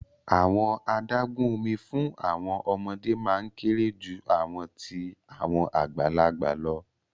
Awọn adagun omi fun awọn ọmọde maa n kere ju awọn ti awọn agbalagba lọ